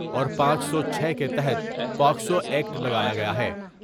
اور پانچ سو چھے کے تحت پاکسوا یکٹ لگایا گیا ہے ۔